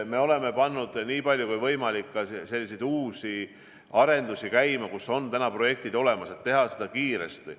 Me oleme pannud käima nii palju kui võimalik ka uusi arendusi, kus on projektid olemas, et teha neid kiiresti.